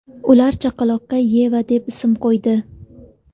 Ular chaqaloqqa Yeva deb ism qo‘ydi.